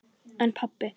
En pabbi?